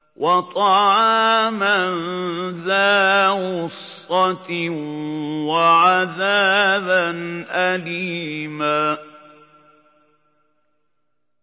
وَطَعَامًا ذَا غُصَّةٍ وَعَذَابًا أَلِيمًا